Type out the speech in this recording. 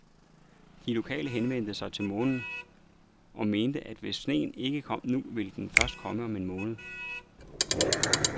De lokale henviste til månen, og mente, at hvis sneen ikke kom nu, ville den først komme om en måned.